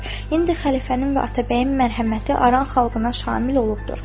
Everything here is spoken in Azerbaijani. İndi xəlifənin və atabəyin mərhəməti Aran xalqına şamil olubdur.